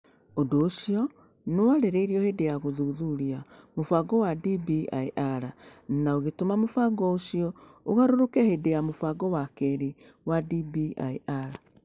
Ũndũ ũcio nĩ warĩrĩirio hĩndĩ ya gũthuthuria mũbango wa DBIR na ũgĩtũma mũbango ũcio ũgarũrũke hĩndĩ ya mũbango wa kerĩ wa DBIR.